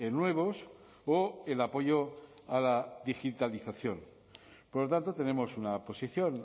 nuevos o el apoyo a la digitalización por lo tanto tenemos una posición